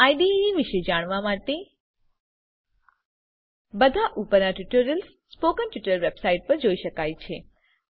IDE વિશે જાણવા માટે બધા ઉપરના ટ્યુટોરિયલ્સ સ્પોકન ટ્યુટોરીયલ વેબસાઇટ પર જોઈ શકાય છે